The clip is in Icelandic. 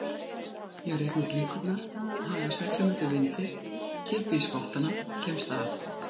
Ég reikna út líkurnar, haga seglum eftir vindi, kippi í spottana, kemst af.